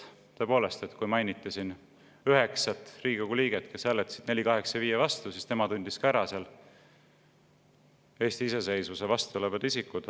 Tõepoolest, kui mainiti siin üheksat Riigikogu liiget, kes hääletasid 485 OE vastu, siis tema tundis ka ära Eesti iseseisvuse vastu olevad isikud.